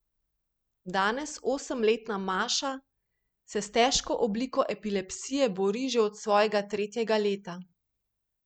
Danes osemletna Maša se s težko obliko epilepsije bori že od svojega tretjega leta.